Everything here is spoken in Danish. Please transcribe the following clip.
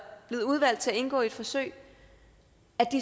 blevet udvalgt til at indgå i et forsøg